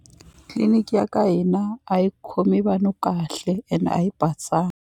Clinic ya khomi vanhu kahle ene a yi .